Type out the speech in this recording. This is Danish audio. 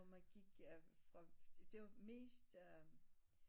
Hvor man gik fra det var mest øh